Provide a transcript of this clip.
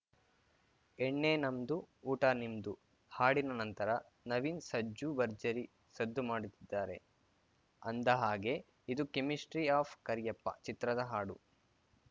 ಎಣ್ಣೆ ನಮ್ದು ಊಟ ನಿಮ್ದು ಹಾಡಿನ ನಂತರ ನವೀನ್‌ ಸಜ್ಜು ಭರ್ಜರಿ ಸದ್ದು ಮಾಡುತ್ತಿದ್ದಾರೆ ಅಂದ ಹಾಗೆ ಇದು ಕೆಮಿಸ್ಟ್ರಿ ಆಫ್‌ ಕರಿಯಪ್ಪ ಚಿತ್ರದ ಹಾಡು